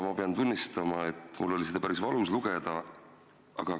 Ma pean tunnistama, et mul oli seda päris valus lugeda.